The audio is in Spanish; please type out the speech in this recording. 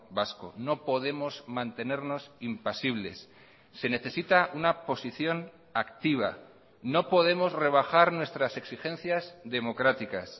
vasco no podemos mantenernos impasibles se necesita una posición activa no podemos rebajar nuestras exigencias democráticas